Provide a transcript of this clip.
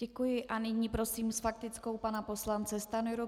Děkuji a nyní prosím s faktickou pana poslance Stanjuru.